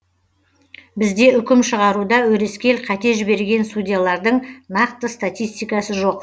бізде үкім шығаруда өрескел қате жіберген судьялардың нақты статистикасы жоқ